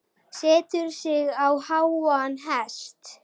Setur sig á háan hest.